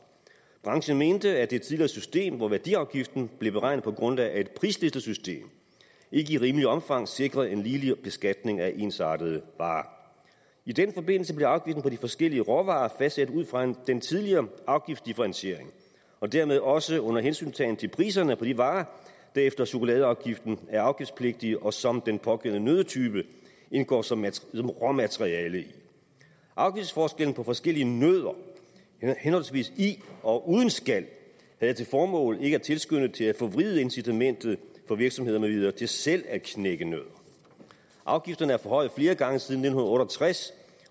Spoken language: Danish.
branchen mente at det tidligere system hvor værdiafgiften blev beregnet på grundlag af et prislistesystem ikke i rimeligt omfang sikrede en ligelig beskatning af ensartede varer i den forbindelse blev afgiften på de forskellige råvarer fastsat ud fra den tidligere afgiftsdifferentiering og dermed også under hensyntagen til priserne på de varer der efter chokoladeafgiften er afgiftspligtige og som den pågældende nøddetype indgår som råmateriale i afgiftsforskellen på forskellige nødder henholdsvis i og uden skal havde til formål ikke at tilskynde til at forvride incitamentet for virksomheder med videre til selv at knække nødder afgifterne er forhøjet flere gange siden nitten otte og tres